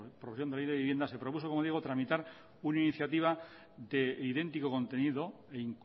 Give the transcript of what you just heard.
producción de la ley de vivienda se produjo como digo tramitar una iniciativa de idéntico contenido e